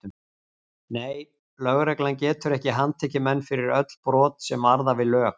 Nei, lögreglan getur ekki handtekið menn fyrir öll brot sem varða við lög.